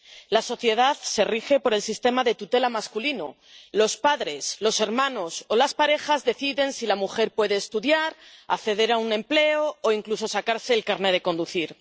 La sociedad se rige por el sistema de tutela masculino los padres, los hermanos o las parejas deciden si la mujer puede estudiar, acceder a un empleo, o incluso sacarse el carné de conducir.